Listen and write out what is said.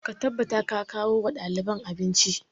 Ka tabbata ka kawo wa ɗaliban abinci!